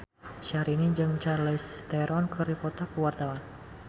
Syahrini jeung Charlize Theron keur dipoto ku wartawan